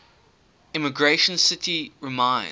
emigration city reminds